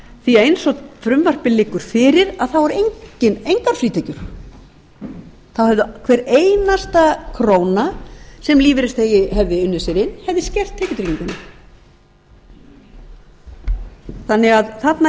því að eins og frumvarpið liggur fyrir eru engar frítekjur þá hefði hver einasta króna sem lífeyrisþegi hefði unnið ár inn skert tekjutrygginguna þannig að þarna